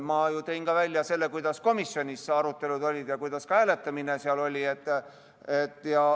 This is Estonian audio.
Ma tõin välja selle, millised arutelud komisjonis olid ja kuidas seal hääletati.